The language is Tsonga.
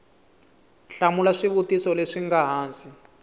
hlamula swivutiso leswi nga hansi